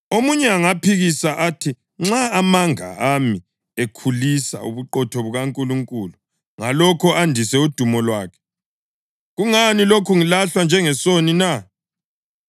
Omunye angaphikisa athi, “Nxa amanga ami ekhulisa ubuqotho bukaNkulunkulu ngalokho andise udumo lwakhe, kungani lokhe ngilahlwa njengesoni na?”